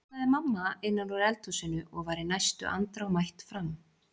kallaði mamma innan úr eld húsinu og var í næstu andrá mætt fram.